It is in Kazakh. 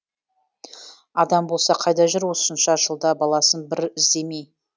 адам болса қайда жүр осынша жылда баласын бір іздемей